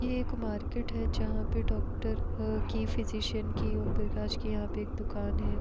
यह एक मार्केट है जहाँ पे डॉक्टर के फिजिशियन की ओमप्रकाश की यहाँ पे एक दुकान है।